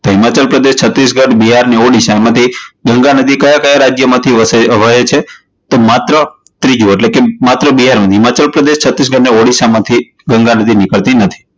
હિમાચલ પ્રદેશ, છત્તીસગઢ, બિહાર અને ઓડિશા માંથી ગંગા નદી કયા કયા રાજ્ય માંથી વહે છે? તો માત્ર ત્રીજું, એટલે કે માત્ર બે, હિમાચલ પ્રદેશ, છત્તીસગઢ અને ઓડિશા માથી ગંગા નદી નીકળતી નથી.